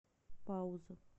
пауза